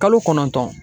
Kalo kɔnɔntɔn